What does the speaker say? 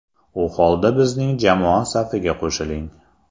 U holda bizning jamoa safiga qo‘shiling!